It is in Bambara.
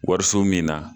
Wariso min na